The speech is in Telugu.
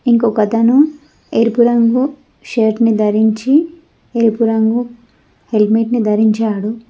ఇంకొకతను ఎరుపు రంగు షర్ట్ ని ధరించి ఎరుపు రంగు హెల్మెట్ ని ధరించాడు.